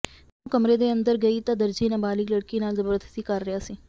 ਜਦੋਂ ਉਹ ਕਮਰੇ ਦੇ ਅੰਦਰ ਗਈ ਤਾਂ ਦਰਜੀ ਨਾਬਾਲਿਗ ਲੜਕੀ ਨਾਲ ਜ਼ਬਰਦਸਤੀ ਕਰ ਰਿਹਾ ਸੀ